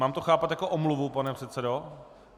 Mám to chápat jako omluvu, pane předsedo?